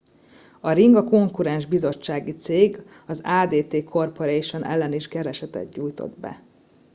a ring a konkurens biztonsági cég az adt corporation ellen is keresetet nyújtott be